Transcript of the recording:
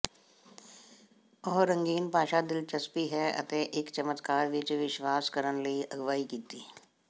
ਉਹ ਰੰਗੀਨ ਭਾਸ਼ਾ ਦਿਲਚਸਪੀ ਹੈ ਅਤੇ ਇੱਕ ਚਮਤਕਾਰ ਵਿਚ ਵਿਸ਼ਵਾਸ ਕਰਨ ਲਈ ਅਗਵਾਈ ਕੀਤੀ